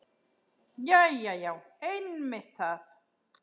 Jæja já, einmitt það.